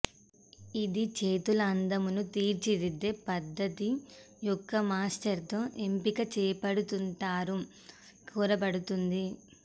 ఇది చేతుల అందమును తీర్చిదిద్దే పద్ధతి యొక్క మాస్టర్ తో ఎంపిక చేపడుతుంటారు కోరబడుతుంది